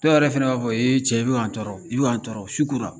Dɔw yɛrɛ fana b'a fɔ e cɛ e cɛ i bɛ k'an tɔɔrɔ i bɛ k'an tɔɔrɔ su kora